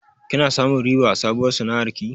Kina samun riba a sabuwar sana'ar ki?